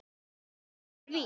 En eitt er víst